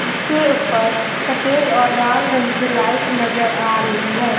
जिसके ऊपर सफेद और लाल रंग की लाइट नजर आ रही है।